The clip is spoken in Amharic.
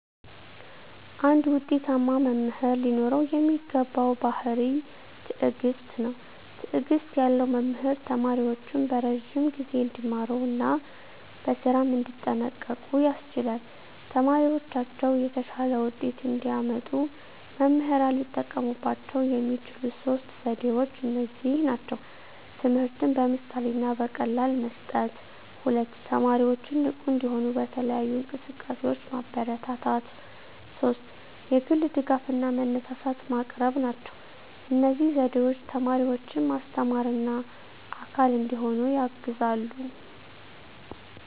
አንድ ውጤታማ መምህር ሊኖረው የሚገባው ባሕርይ ትዕግስት ነው። ትዕግስት ያለው መምህር ተማሪዎቹን በረዥም ጊዜ እንዲማሩ እና በስራም እንዲጠንቀቁ ያስችላል። ተማሪዎቻቸው የተሻለ ውጤት እንዲያመጡ መምህራን ሊጠቀሙባቸው የሚችሉት ሦስት ዘዴዎች እነዚህ ናቸው፦ ትምህርትን በምሳሌ እና በቀላል መስጠት፣ 2) ተማሪዎችን ንቁ እንዲሆኑ በተለያዩ እንቅስቃሴዎች ማበረታታት፣ 3) የግል ድጋፍ እና መነሳሳት ማቅረብ ናቸው። እነዚህ ዘዴዎች ተማሪዎችን ማስተማርና አካል እንዲሆኑ ያግዛሉ።